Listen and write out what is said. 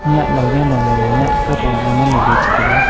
nyah lao nyah long nya nyah kafong longngan lele che taiga.